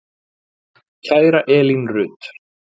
Kæra Elín Rut.